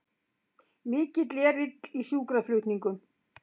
Mikill erill í sjúkraflutningum